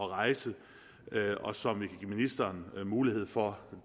rejse og som vi kan give ministeren mulighed for